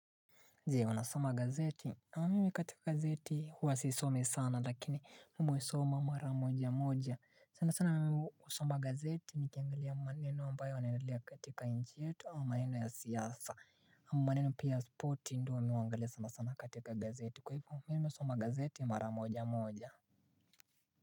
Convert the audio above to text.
Je wanasoma gazeti na amimi katika gazeti huwa sisomi sana lakini muisoma mara moja moja sana sana mimi usoma gazeti nikiangalia maneno ambayo yanaendelea katika nchi yetu au maneno ya siasa mmaneno pia ya sporti ndio mi uangalia sana sana katika gazeti kwa hivo mimi usoma gazeti mara moja moja.